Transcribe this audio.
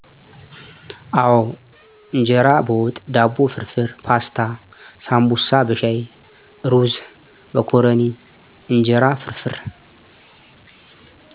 አወ እንጀራ በወጥ፣ ዳቦ ፍርፍር፣ ፓስታ፣ ሳንቡሳ በሻይ፣ እሩዝ፣ መኮረኒ፣ እንጀራ ፍርፍር።